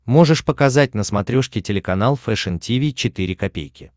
можешь показать на смотрешке телеканал фэшн ти ви четыре ка